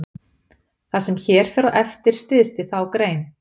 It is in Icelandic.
það sem hér fer á eftir styðst við þá grein